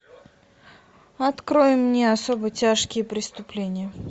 открой мне особо тяжкие преступления